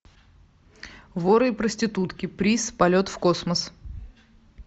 воры и проститутки приз полет в космос